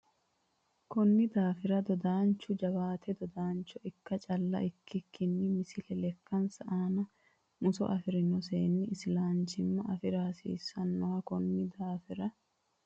Konni daafira dodaanchu cho jawaata dadaancho ikka calla ikkikkinni Misile Lekkansa aana muso afi rino seenni isilanchimma afi ra hasiissannonsa Konni daafira.